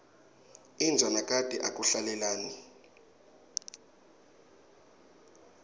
inja nakati akuhlalelani